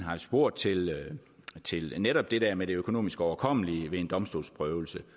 spurgt til netop det der med det økonomisk overkommelige ved en domstolsprøvelse